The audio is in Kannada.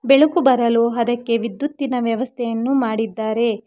ಬೆಳಕು ಬರಲು ಅದಕ್ಕೆ ವಿದ್ಯುತ್ತಿನ ವ್ಯವಸ್ಥೆಯನ್ನು ಮಾಡಿದ್ದಾರೆ.